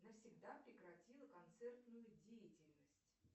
навсегда прекратила концертную деятельность